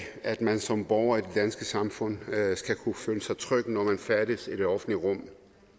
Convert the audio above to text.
at man som borger i det danske samfund skal kunne føle sig tryg når man færdes i det offentlige rum